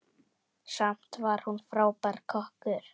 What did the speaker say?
Samt var hún frábær kokkur.